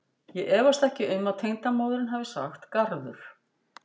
Ég efast ekki um að tengdamóðirin hafi sagt garður.